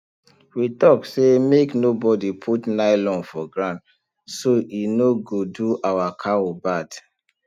we talk say make no bodi put nylon for ground so e no go do our cow bad